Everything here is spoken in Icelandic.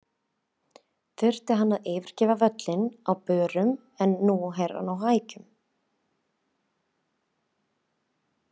Þurfti hann að yfirgefa völlinn á börum en hann er nú á hækjum.